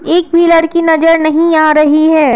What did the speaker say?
एक भी लड़की नजर नहीं आ रही है।